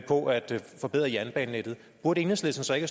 forbedre jernbanenettet burde enhedslisten så ikke